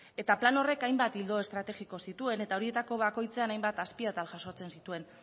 eta plan horrek hainbat ildo estrategiko zituen eta horietako bakoitzean hainbat azpiatal jasotzen zituen